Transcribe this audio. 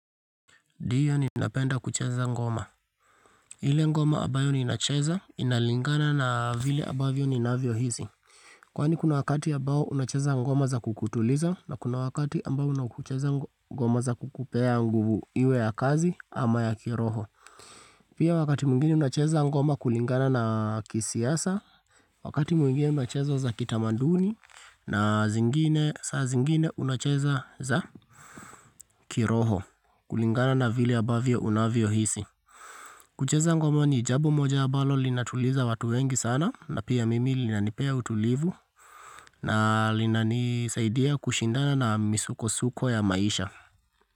Diyo ninapenda kucheza ngoma. Ile ngoma abayo ninacheza inalingana na vile abavyo ninavyohisi. Kwani kuna wakati abao unacheza ngoma za kukutuliza na kuna wakati ambao unacheza ngoma za kukupea nguvu iwe ya kazi ama ya kiroho. Pia wakati mwigine unacheza ngoma kulingana na kisiasa, wakati mwingine unacheza za kitamanduni na zingine saa zingine unacheza za kiroho, kulingana na vile abavyo unavyohisi. Kucheza ngoma ni jabo moja abalo linatuliza watu wengi sana na pia mimi linanipea utulivu na linanisaidia kushindana na misukosuko ya maisha.